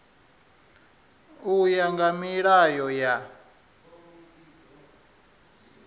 u ya nga milayo ya